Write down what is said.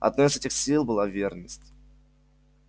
одной из этих сил была верность